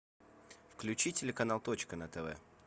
включи телеканал точка на тв